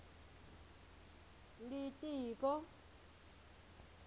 litiko